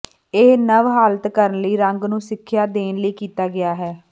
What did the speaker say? ਇਹ ਨਵ ਹਾਲਾਤ ਕਰਨ ਲਈ ਰੰਗ ਨੂੰ ਸਿੱਖਿਆ ਦੇਣ ਲਈ ਕੀਤਾ ਗਿਆ ਹੈ